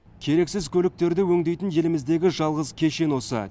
керексіз көліктерді өңдейтін еліміздегі жалғыз кешен осы